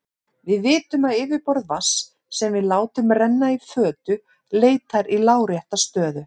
Við vitum að yfirborð vatns sem við látum renna í fötu leitar í lárétta stöðu.